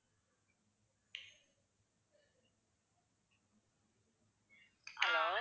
hello